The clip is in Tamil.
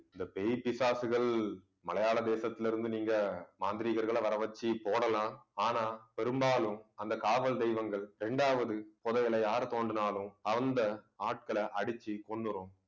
இந்த பேய், பிசாசுகள் மலையாள தேசத்துல இருந்து நீங்க மாந்திரீகர்களை வரவச்சு போடலாம். ஆனா பெரும்பாலும் அந்த காவல் தெய்வங்கள் ரெண்டாவது புதையலை யார் தோண்டினாலும் அந்த ஆட்களை அடிச்சு கொன்னுரும்